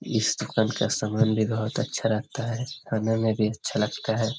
इस दुकान का सामान भी बोहोत अच्छा लगता है। खाने में भी अच्छा लगता है।